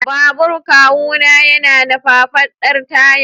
Babur kawuna yana da faffadar taya.